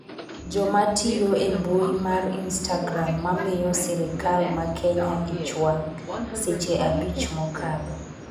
jomatiyo e mbui mar istagram mamiyo Sirikal ma Kenya ich wang' seche abich mokadho